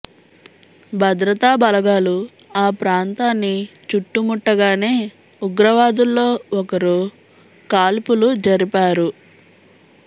భద్రతా బలగాలు ఆ ప్రాంతాన్ని చుట్టుముట్టగానే ఉగ్రవాదుల్లో ఒకరు కాల్పులు జరిపారు